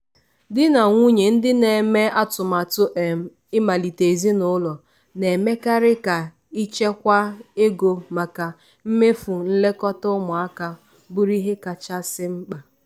ezinụlọ nwoke na nwaanyị na-agba akwụkwọ na-ekerịta ego a na-emefu na mmemme agbamakwụkwọ yana nke oriri agbamakwụkwọ ahụ n'ụzọ hà nhata.